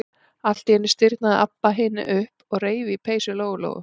Allt í einu stirðnaði Abba hin upp og reif í peysu Lóu-Lóu.